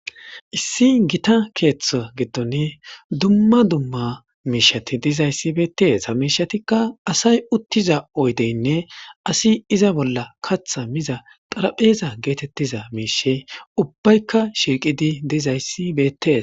Issi giththa keththa gidoni duma duma mishati bettes.ha mishatika assay uttiza oydenne assi iza bolla kaththa miza xarphphezay getetizaysi ubayka shiqidi uttidaysi bettes Bette's.